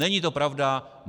Není to pravda.